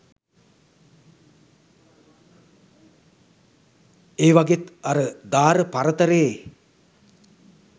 ඒවගෙත් අර දාර පරතරේ